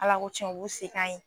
Ala ko tiɲɛn u b'u se k'a ye.